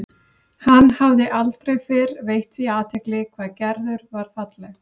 Hann hafði aldrei fyrr veitt því athygli hvað Gerður var falleg.